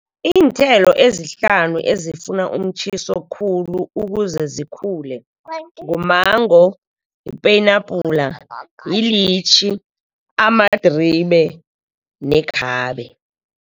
Iinthelo ezihlanu ezifuna umtjhiso khulu, ukuze zikhule ngumango, yipenabhula, yilitjhi, amadribe nekhabe.